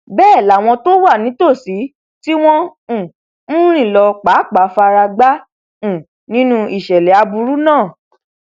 bẹẹ làwọn tó wà nítòsí tí wọn um ń rìn lọ pàápàá fara gbá um nínú ìṣẹlẹ aburú náà